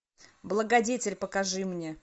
благодетель покажи мне